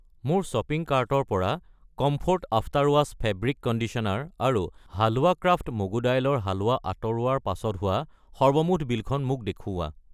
মোৰ শ্বপিং কাৰ্টৰ পৰা comfort after wash fabric conditioner আৰু হালৱা ক্ৰাফ্ট মগু দাইলৰ হালৱা আঁতৰোৱাৰ পাছত হোৱা সৰ্বমুঠ বিলখন মোক দেখুওৱা।